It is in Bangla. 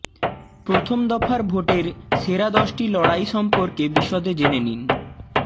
প্রথম দফার ভোটের সেরা দশটি লড়াই সম্পর্কে বিশদে জেনে নিন